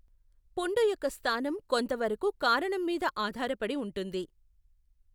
పుండు యొక్క స్థానం కొంతవరకు కారణం మీద ఆధారపడి ఉంటుంది.